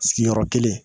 Sigiyɔrɔ kelen